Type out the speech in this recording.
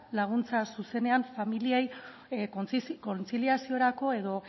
laguntza zuzenean familiei kontziliaziorako edo